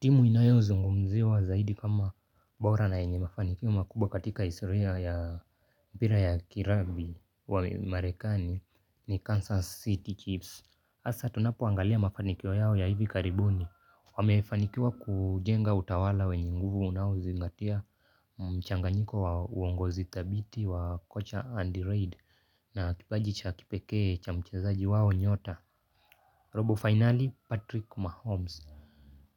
Timu inayozungumziwa zaidi kama bora na yenye mafanikio makubwa katika israeli ya pira ya kirabi wa marekani ni Kansas City Chips. Asa tunapoangalia mafanikio yao ya hivi karibuni. Wamefanikiwa kujenga utawala wenye nguvu unaozingatia mchanganyiko wa uongozi thabiti wa kocha andirade na kipaji cha kipekee cha mchezaji wao nyota robo finali Patrick Mahomes